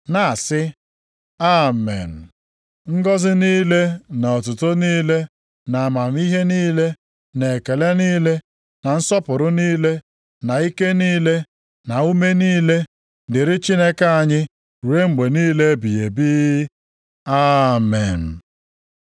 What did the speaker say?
na-asị, “Amen! Ngọzị niile na otuto niile, na amamihe niile na ekele niile na nsọpụrụ niile na ike niile na ume niile, dịrị Chineke anyị ruo mgbe niile ebighị ebi. Amen.”